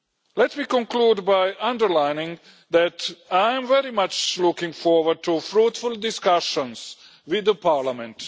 Let me conclude by underlining that I am very much looking forward to fruitful discussions with Parliament.